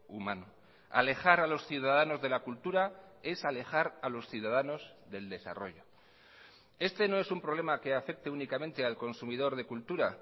humano alejar a los ciudadanos de la cultura es alejar a los ciudadanos del desarrollo este no es un problema que afecte únicamente al consumidor de cultura